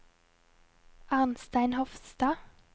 Arnstein Hofstad